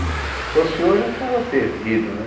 Se fosse hoje, já estava perdido, né?